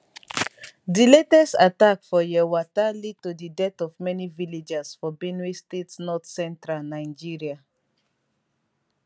di latest attack for yelwata lead to di death of many villagers for benue state north central nigeria